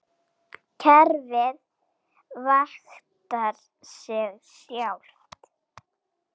Kerfið vaktar sig sjálft.